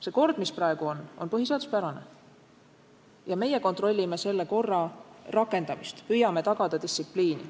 See kord, mis praegu on, on põhiseaduspärane ja meie kontrollime selle korra rakendamist, püüame tagada distsipliini.